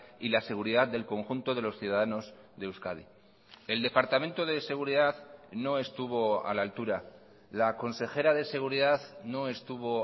y la seguridad del conjunto de los ciudadanos de euskadi el departamento de seguridad no estuvo a la altura la consejera de seguridad no estuvo